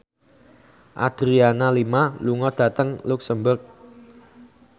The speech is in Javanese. Adriana Lima lunga dhateng luxemburg